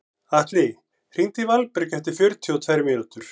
Atli, hringdu í Valberg eftir fjörutíu og tvær mínútur.